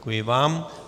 Děkuji vám.